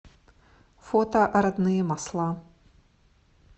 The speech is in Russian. фото родные масла